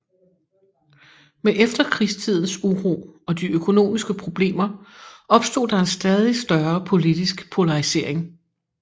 Med efterkrigstidens uro og de økonomiske problemer opstod der en stadig større politisk polarisering